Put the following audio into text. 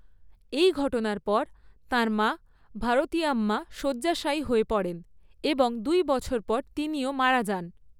এই ঘটনার পর তাঁর মা ভারতিয়াম্মা শয্যাশায়ী হয়ে পড়েন এবং দুই বছর পর তিনিও মারা যান।